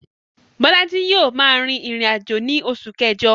Bólájí yio ma rìn ìrìnàjò ni osù kẹ́jo